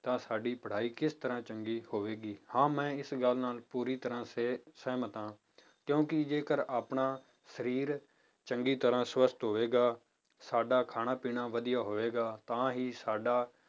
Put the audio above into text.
ਤਾਂ ਸਾਡੀ ਪੜ੍ਹਾਈ ਕਿਸ ਤਰ੍ਹਾਂ ਚੰਗੀ ਹੋਵੇਗੀ, ਹਾਂ ਮੈਂ ਇਸ ਗੱਲ ਨਾਲ ਪੂਰੀ ਤਰ੍ਹਾਂ ਸਿ~ ਸਿਹਮਤ ਹਾਂ ਕਿਉਂਕਿ ਜੇਕਰ ਆਪਣਾ ਸਰੀਰ ਚੰਗੀ ਤਰ੍ਹਾਂ ਸਵਸਥ ਹੋਵੇਗਾ, ਸਾਡਾ ਖਾਣਾ ਪੀਣਾ ਵੱਧੀਆ ਹੋਵੇਗਾ ਤਾਂ ਹੀ ਸਾਡਾ